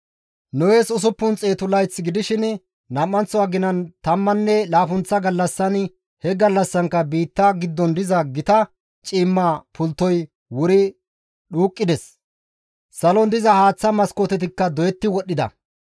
Nohes usuppun xeetu layth gidishin nam7anththo aginan tammanne laappunththa gallassan he gallassankka biitta giddon diza gita ciimma pulttoy wuri dhuuqqides; salon diza haaththa maskootetikka doyetti wodhdhida.